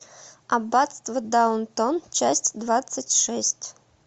аббатство даунтон часть двадцать шесть